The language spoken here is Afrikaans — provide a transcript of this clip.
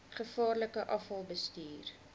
gevaarlike afval bestuur